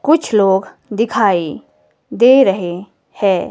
कुछ लोग दिखाई दे रहे हैं।